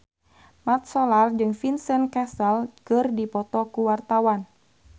Mat Solar jeung Vincent Cassel keur dipoto ku wartawan